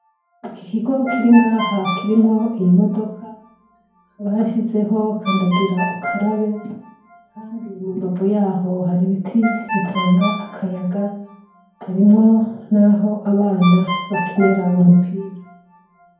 Iki kigo kiringa ha kirimwo iyi modoka barashizeho kandagira ukarabe, kandi mumbavu yaho hari ibiti bitanga akayaga harimwo, naho abana bakinira umupira.